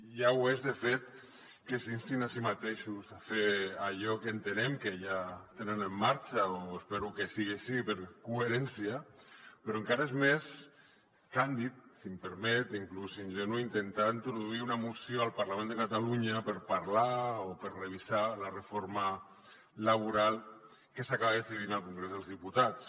ja ho és de fet que s’instin a si mateixos a fer allò que entenem que ja tenen en marxa o espero que sigui així per coherència però encara és més càndid si m’ho permet inclús ingenu intentar introduir una moció al parlament de catalunya per parlar o per revisar la reforma laboral que s’acaba decidint al congrés dels diputats